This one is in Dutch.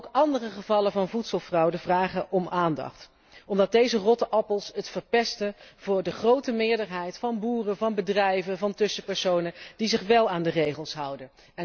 Maar ook andere gevallen van voedselfraude vragen om aandacht, omdat deze rotte appels het verpesten voor de grote meerderheid van boeren, van bedrijven, van tussenpersonen die zich wel aan de regels houden.